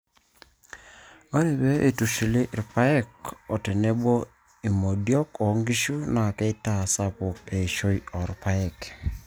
ore pee eitushuli irpaek oo tenebo imodiok oo nkishu naa keitaa sapuk eishoi oorpaek